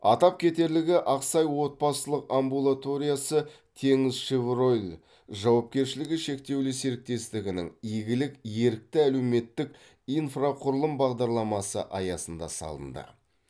атап кетерлігі ақсай отбасылық амбулаториясы теңізшевройл жауапкершілігі шектеулі серіктестігінің игілік ерікті әлеуметтік инфрақұрылым бағдарламасы аясында салынды